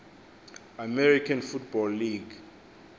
american football league